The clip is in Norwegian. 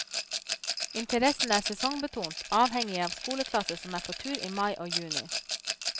Interessen er sesongbetont, avhengig av skoleklasser som er på tur i mai og juni.